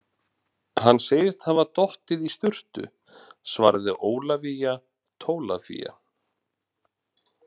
Hann sagðist hafa dottið í sturtu, svaraði Ólafía Tólafía.